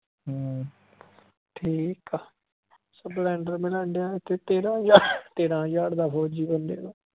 ਹਮ ਠੀਕ ਆ। splendor ਮਿਲਣ ਦਿਆਂ ਇਥੇ ਤੇਰਾਂ ਹਜਾਰ ਤੇਰਾ ਹਜਾਰ ਦਾ ਫੋਜੀ ਬੰਦੇ ਤੋਂ